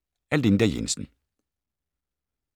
Af Linda Jensen